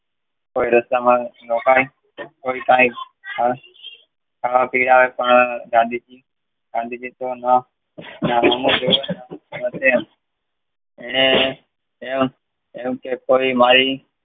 રસ્તામાં રોકાય ખાવા પીવા ગાંધીજી એને એમ કહી માય